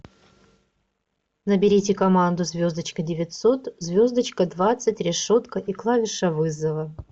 наберите команду звездочка девятьсот звездочка двадцать решетка и клавиша вызова